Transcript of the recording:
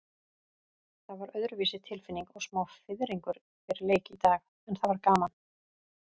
Það var öðruvísi tilfinning og smá fiðringur fyrir leik í dag, en það var gaman.